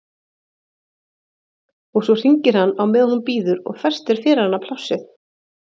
Og svo hringir hann á meðan hún bíður og festir fyrir hana plássið.